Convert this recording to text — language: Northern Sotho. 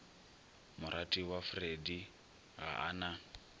moratiwa freddie ga a na